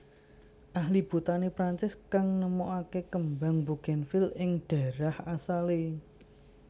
Ahli Botani Perancis kang nemoaké kembang bugènvil ing dhaérah asalé